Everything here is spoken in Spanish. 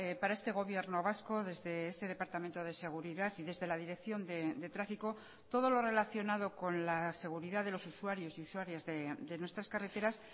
para este gobierno vasco desde este departamento de seguridad y desde la dirección de tráfico todo lo relacionado con la seguridad de los usuarios y usuarias de nuestras carreteras